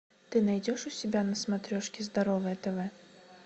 ты найдешь у себя на смотрешке здоровое тв